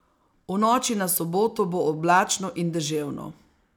V noči na soboto bo oblačno in deževno.